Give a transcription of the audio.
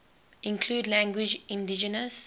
include languages indigenous